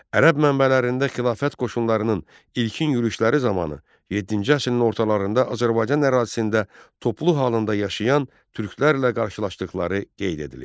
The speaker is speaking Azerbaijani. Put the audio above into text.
Ərəb mənbələrində xilafət qoşunlarının ilkin yürüşləri zamanı yeddinci əsrin ortalarında Azərbaycan ərazisində toplu halında yaşayan türklərlə qarşılaşdıqları qeyd edilib.